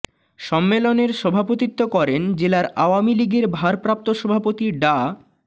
সম্মেলনের সভাপতিত্ব করেন জেলা আওয়ামী লীগের ভারপ্রাপ্ত সভাপতি ডা